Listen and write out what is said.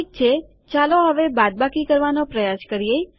ઠીક છે હવે ચાલો બાદબાકી કરવાનો પ્રયાસ કરીએ